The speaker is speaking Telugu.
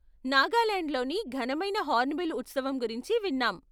నాగాలాండ్లోని ఘనమైన హార్న్బిల్ ఉత్సవం గురించి విన్నాం.